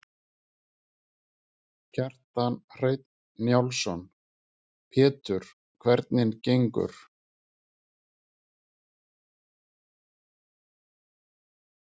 Kjartan Hreinn Njálsson: Pétur, hvernig gengur?